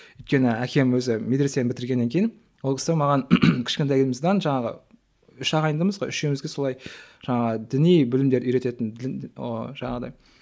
өйткені әкем өзі медрессені бітіргеннен кейін ол кісі маған кішкентайымыздан жаңағы үш ағайындымыз ғой үшеумізге солай жаңағы діни білімдер үйрететін жаңағыдай